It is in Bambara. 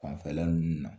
Fanfɛla ninnu na